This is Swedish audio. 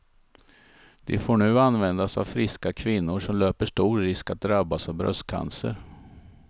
Det får nu användas av friska kvinnor som löper stor risk att drabbas av bröstcancer.